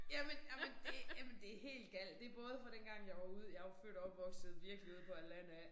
Jamen jamen det jamen det helt galt. Det både fra dengang jeg var ude jeg jo født og opvokset virkelig ude på landet af